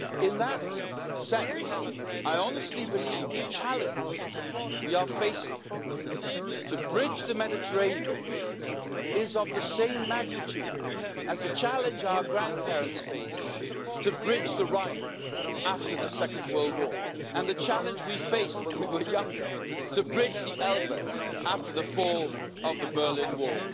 In that sense, I honestly believe the challenge we are facing To bridge the Mediterranean is of the same magnitude as the challenge our grandparents faced to bridge the Rhine after the Second World War, and the challenge we faced when we were younger, to bridge the Elbe after the fall of the Berlin Wall.